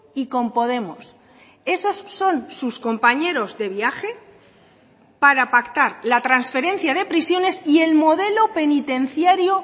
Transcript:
y con podemos esos son sus compañeros de viaje para pactar la transferencia de prisiones y el modelo penitenciario